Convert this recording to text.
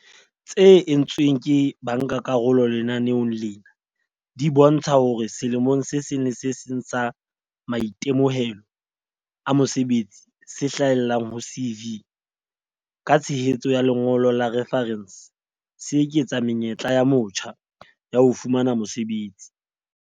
tse entsweng ke bankakarolo lenaneong lena di bontsha hore selemong se le seng sa maitemohelo a mosebetsi se hlahellang ho CV, ka tshehetso ya lengolo la refarense, se eketsa menyetla ya motjha ya ho fumana mosebetsi.